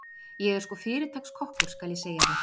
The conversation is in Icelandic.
Ég er sko fyrirtaks kokkur, skal ég segja þér.